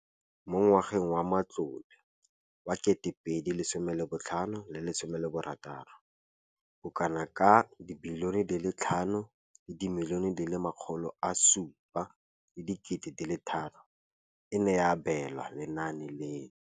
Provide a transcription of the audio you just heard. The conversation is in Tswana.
Mo ngwageng wa matlole wa 2015,16, bokanaka R5 703 bilione e ne ya abelwa lenaane leno.